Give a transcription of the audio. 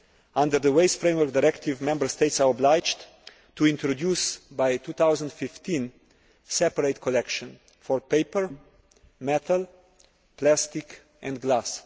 Under the Waste Framework Directive, Member States are obliged to introduce by 2015 separate collections for paper, metal, plastic and glass.